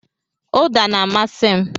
Uda na-amasị m.